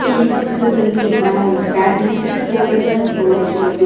ಈ ಚಿತ್ರದಲ್ಲಿ ನಾವು ಬ್ಯಾಡ್ಮಿಂಟನ್ ಕೋರ್ಟನ್ನು ನೋಡಬಹುದು.